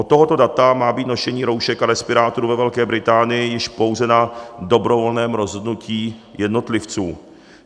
Od tohoto data má být nošení roušek a respirátorů ve Velké Británii již pouze na dobrovolném rozhodnutí jednotlivců.